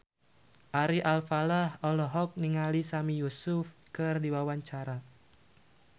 Ari Alfalah olohok ningali Sami Yusuf keur diwawancara